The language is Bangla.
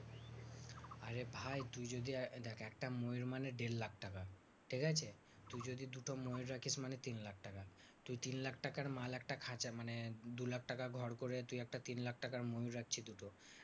আরে ভাই তুই যদি দেখ একটা ময়ূর মানে দেড় লাখ টাকা ঠিকাছে? তুই যদি দুটো ময়ূর রাখিস তাহলে তিন লাখ টাকা। তুই তিন লাখ টাকার মাল একটা খাঁচা মানে দু লাখ টাকা ঘর করে তুই একটা তিন লাখ টাকার ময়ূর রাখছিস দুটো।